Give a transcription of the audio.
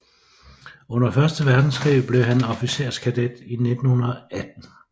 Under første verdenskrig blev han officerskadet i 1918